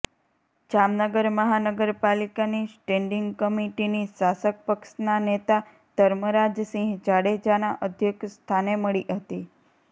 જામનગર મહાનગરપાલીકાની સ્ટેન્ડીંગ કમિટીની શાસક પક્ષના નેતા ધર્મરાજસિંહ જાડેજાના અધ્યક્ષ સ્થાને મળી હતી